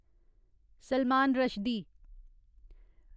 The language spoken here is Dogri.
सलमान रश्दी